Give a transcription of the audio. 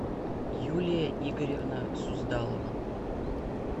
юлия игоревна суздалова